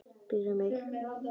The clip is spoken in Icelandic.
Býr um sig.